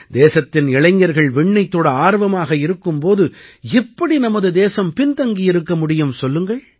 தேசத்தின் இளைஞர்கள் விண்ணைத் தொட ஆர்வமாக இருக்கும் போது எப்படி நமது தேசம் பின் தங்கியிருக்க முடியும் சொல்லுங்கள்